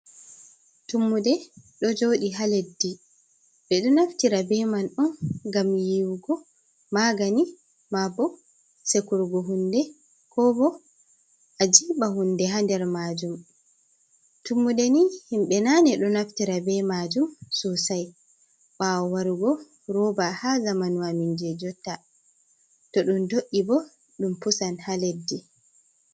Tummude do jodi ha leddi, ɓe do naftira be man'on gam yiwugo magani, ma bo sekurgo hunɗe ko bo a jiba hunɗe hander majum. Tummude ni himbe nane ɗo naftira be majum sosai, bawo warugo roba ha zamanwaminje jotta, tohdom do’i bo dum pusan ha leddi.